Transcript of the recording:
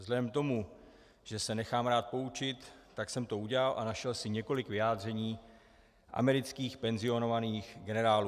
Vzhledem k tomu, že se nechám rád poučit, tak jsem to udělal a našel si několik vyjádření amerických penzionovaných generálů.